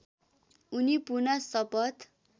उनी पुनः शपथ